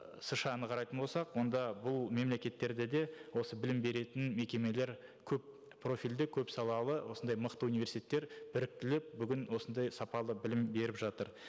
сша ны қарайтын болсақ онда бұл мемлекеттерде де осы білім беретін мекемелер көп профильді көп салалы осындай мықты университеттер біріктіліп бүгін осындай сапалы білім беріп жатыр